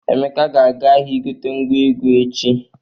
Emeka ga-aga ahịa igote ngwa egwu echi.